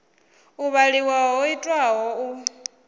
u vhaliwa ho itwaho u